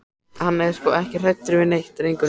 Hann er sko ekki hræddur við neitt, drengurinn sá.